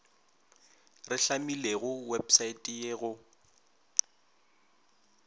re hlamilego wepsaete ye go